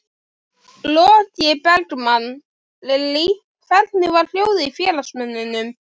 Logi Bergmann: Lillý, hvernig var hljóðið í félagsmönnum?